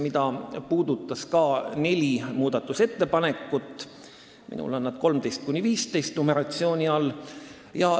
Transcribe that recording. Seda puudutasid neli muudatusettepanekut, minul on nad kirjas numbrite 13–15 all.